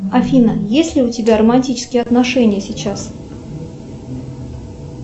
афина есть ли у тебя романтические отношения сейчас